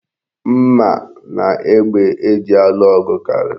Mma na egbe eji alụ ọgụ karịrị.